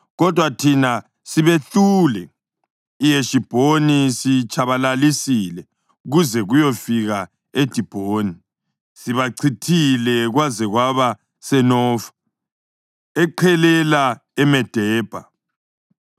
Kodwa thina sibehlule; iHeshibhoni siyitshabalalisile kuze kuyefika eDibhoni. Sibachithile kwaze kwaba seNofa, eqhelela eMedebha.”